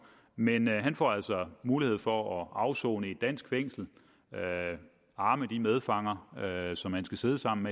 men han får altså mulighed for at afsone i et dansk fængsel arme de medfanger som han skal sidde sammen